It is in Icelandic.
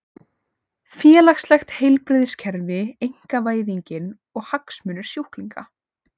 Félagslegt heilbrigðiskerfi, einkavæðingin og hagsmunir sjúklinga.